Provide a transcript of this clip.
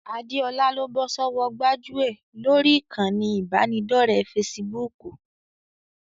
Adéọlá ló bọ́ sọ́wọ́ gbájúẹ̀ lórí ìkànnì ìbánidọ́ọ̀rẹ́ fesibúùkù